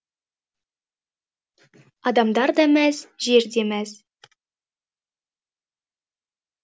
адамдар да мәз жер де мәз